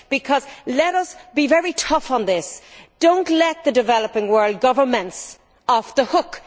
Because let us be very tough on this we should not let the developing world's governments off the hook